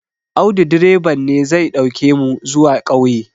Audu direban ne zai ɗauke mu zuwa ƙauye